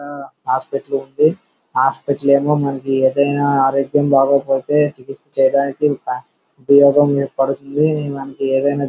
ఒక హాస్పిటల్ ఉంది హాస్పిటల్ ఏమో మనకి ఏదైనా ఆరోగ్యం బాగోకపోతే చికిత్స చేయడానికి ఉపయోగపడుతుంది మనకు ఏదైనా.